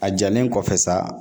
A jalen kɔfɛ sa